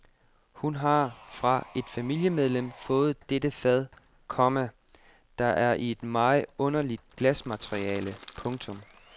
Hun har fra et familiemedlem fået dette fad, komma der er i et meget underligt glasmateriale. punktum